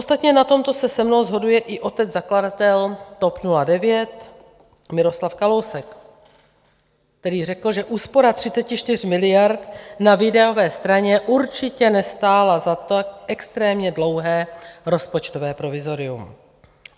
Ostatně na tomto se se mnou shoduje i otec zakladatel TOP 09 Miroslav Kalousek, který řekl, že úspora 34 miliard na výdajové straně určitě nestála za to extrémně dlouhé rozpočtové provizorium.